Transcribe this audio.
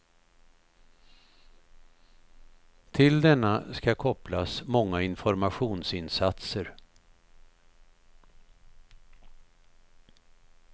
Till denna skall kopplas många informationsinsatser.